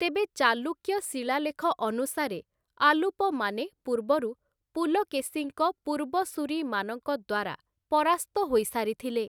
ତେବେ, ଚାଲୁକ୍ୟ ଶିଳାଲେଖ ଅନୁସାରେ, ଆଲୁପମାନେ ପୂର୍ବରୁ ପୁଲକେଶୀଙ୍କ ପୂର୍ବସୂରୀମାନଙ୍କ ଦ୍ୱାରା ପରାସ୍ତ ହୋଇସାରିଥିଲେ ।